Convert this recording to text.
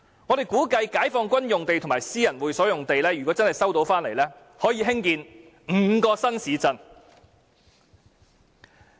我們估計解放軍用地及私人會所用地若收回，可以興建5個新市鎮。